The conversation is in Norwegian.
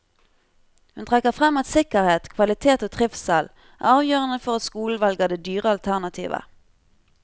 Hun trekker frem at sikkerhet, kvalitet og trivsel er avgjørende for at skolen velger det dyre alternativet.